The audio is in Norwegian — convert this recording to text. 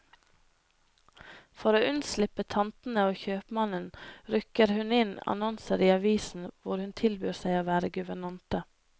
For å unnslippe tantene og kjøpmannen, rykker hun inn annonser i avisen hvor hun tilbyr seg å være guvernante.